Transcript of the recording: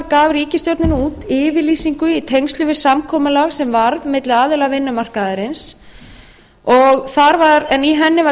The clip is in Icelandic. gaf ríkisstjórnin út yfirlýsingu í tengslum við samkomulag sem varð milli aðila vinnumarkaðarins en í henni var